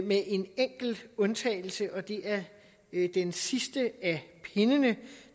med en enkelt undtagelse og det er den sidste af pindene